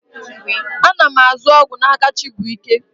A na m azụ ọgwụ n'aka Chibuike.